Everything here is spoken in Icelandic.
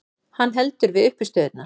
Hann heldur við uppistöðurnar.